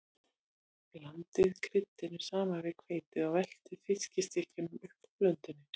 Blandið kryddinu saman við hveitið og veltið fiskstykkjunum upp úr blöndunni.